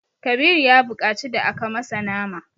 Kabiru ya buƙaci da aka masa nama.